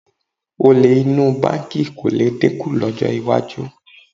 Olè inú báǹkì kò lè dínkù lọ́jọ́ iwájú